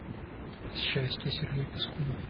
счастье сергей пискун